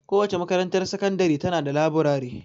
Kowace makarantar sakandiri ta na da laburare.